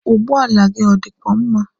Ụgbọala gị ọ dịkwa mma?